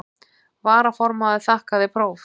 Varaformaður þakkaði próf.